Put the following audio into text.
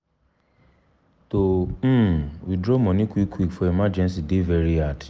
to um withdraw money quick quick for emergency dey very hard.